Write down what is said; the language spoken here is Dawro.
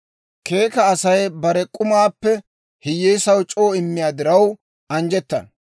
Keeka Asay bare k'umaappe hiyyeesaw c'oo immiyaa diraw anjjettana.